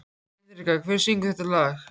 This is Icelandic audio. Hinrikka, hver syngur þetta lag?